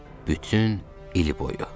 Bütün il boyu.